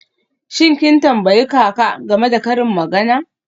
Shin kin tambayi kaka game da karin magana?